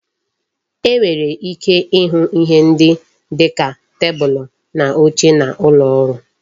E nwere ike ịhụ ihe ndị dịka tebulu na oche n'ụlọ ọrụ